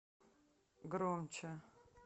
громче